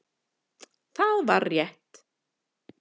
Það var rétt